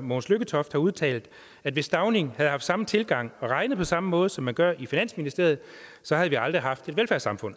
mogens lykketoft har udtalt at hvis stauning havde haft samme tilgang og regnet på samme måde som man gør i finansministeriet så havde vi aldrig haft et velfærdssamfund